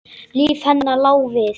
Líf hennar lá við.